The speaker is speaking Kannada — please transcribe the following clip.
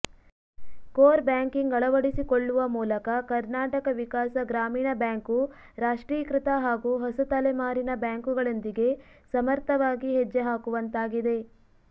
ಕೋರ್ ಬ್ಯಾಂಕಿಂಗ್ ಅಳವಡಿಸಿಕೊಳ್ಳುವ ಮೂಲಕ ಕರ್ನಾಟಕ ವಿಕಾಸ ಗ್ರಾಮೀಣ ಬ್ಯಾಂಕು ರಾಷ್ಟ್ರೀಕೃತ ಹಾಗೂ ಹೊಸ ತಲೆಮಾರಿನ ಬ್ಯಾಂಕುಗಳೊಂದಿಗೆ ಸಮರ್ಥವಾಗಿ ಹೆಜ್ಜೆಹಾಕುವಂತಾಗಿದೆ